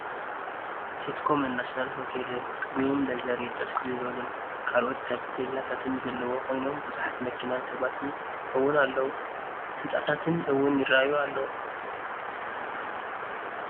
ስትኮምን ናሽናለ ሆቴልን ግሩም ለዘር የጥርስ ዝብሉን ካልኦትን ታቤላታትን ዘለው ኮይኖም ብዙሓት መኪናን ሰባትን እውን ኣለው። ህንፃታትን እውን ይርኣዩ ኣለው።